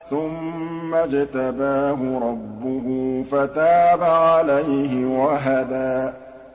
ثُمَّ اجْتَبَاهُ رَبُّهُ فَتَابَ عَلَيْهِ وَهَدَىٰ